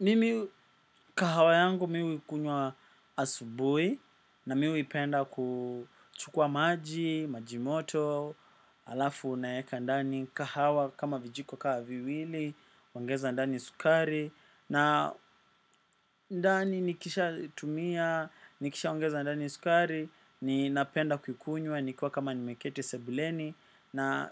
Mimi kahawa yangu mi huikunywa asubui na mi uipenda kuchukua maji, maji moto, alafu naeka ndani kahawa kama vijiko kaa viwili, ongeza ndani sukari. Na ndani nikisha tumia, nikishaongeza ndani sukari, ni napenda kukunywa nikiwa kama nimeketi sebuleni. Na